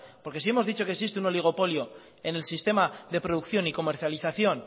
porque si hemos dicho que existe un oligopolio en el sistema de producción y comercialización